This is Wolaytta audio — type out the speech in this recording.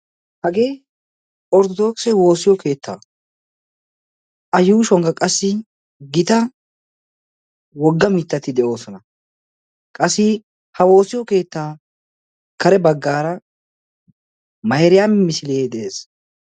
Hagee orttodooqso woosiyo keettaa a yuushuwankka qassi gita wogga mittati de'oosona. qassi ha woosiyo keettaa kare baggaara mairiyaami misilee de'ees.